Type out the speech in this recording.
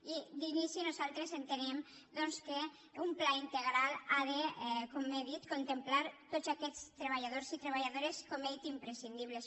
i d’inici nosaltres entenem doncs que un pla in·tegral ha de com he dit contemplar tots aquests tre·balladors i treballadores com he dit imprescindibles